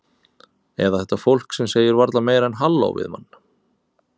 Eða þetta fólk sem segir varla meira en halló við mann.